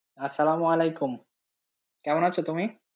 কেমন আছো তুমি?